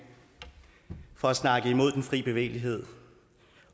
for at snakke imod den fri bevægelighed